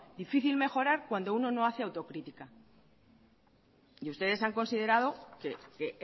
difícil mejorar cuando uno no hace autocrítica y ustedes han considerado que